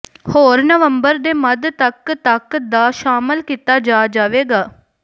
ਹੋਰ ਨਵੰਬਰ ਦੇ ਮੱਧ ਤੱਕ ਤੱਕ ਦਾ ਸ਼ਾਮਿਲ ਕੀਤਾ ਜਾ ਜਾਵੇਗਾ